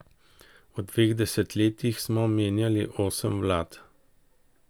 V dveh desetletjih smo menjali osem vlad.